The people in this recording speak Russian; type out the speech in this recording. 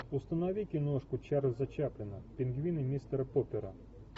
установи киношку чарльза чаплина пингвины мистера поппера